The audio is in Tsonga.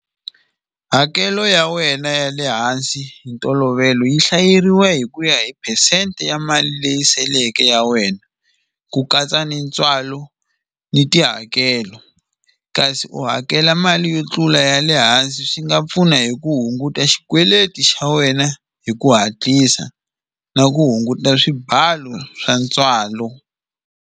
Hakelo ya wena ya le hansi hi ntolovelo yi hlayeriwa hi ku ya hi percent ya mali leyi seleke ya wena ku katsa ni ntswalo ni tihakelo kasi u hakela mali yo tlula ya le hansi swi nga pfuna hi ku hunguta xikweleti xa wena hi ku hatlisa na ku hunguta swibalo swa ntswalo.